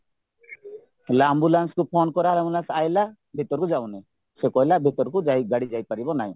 ହେଲେ ambulanceକୁ ଫୋନ କରାହେଲା ambulance ଆସିଲା ଭିତରକୁ ଯାଉନି ସେ କହିଲା ଭିତରକୁ ଯାଇ ଗାଡି ଯାଇପାରିବ ନାହିଁ